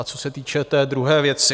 A co se týče té druhé věci.